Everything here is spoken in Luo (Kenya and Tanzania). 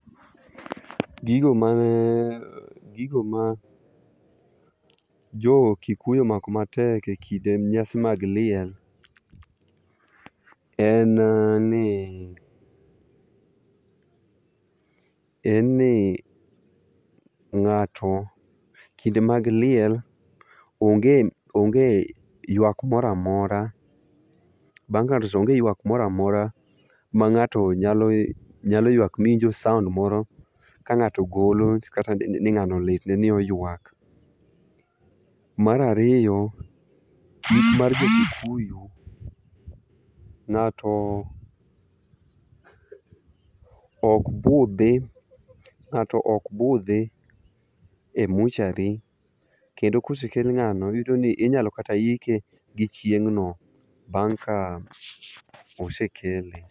Gigo mane ,gigo ma jo kikuyu omako matek ekinde nyasi mag liel en ni ,en ni, ngato kinde mag liel onge ywak moro amora, bang ka ngato osetho onge yuak moro amora mangato nyalo yuak miwinjo sound moro kangato golo ni ngano litne ni oyuak. Mar ariyo, ik mar jo Kikuyu ngato ok budhi, ngato ok budhi e mortuary kendo ka osekel ngano iyudo ni inyalo kata ike gi chieng no bang ka osekele